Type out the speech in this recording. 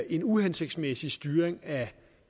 en uhensigtsmæssig styring af